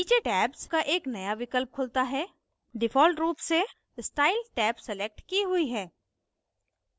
नीचे tabs का एक नया विकल्प खुलता है default रूप से स्टाइल टैब सलेक्ट की हुई है